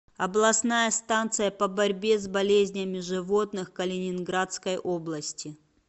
областная станция по борьбе с болезнями животных калининградской области